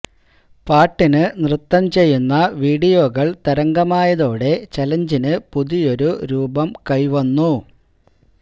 പാട്ടിന് നൃത്തം ചെയ്യുന്ന വീഡിയോകള് തരംഗമായതോടെ ചലഞ്ചിന് പുതിയൊരു രൂപം കൈവന്നു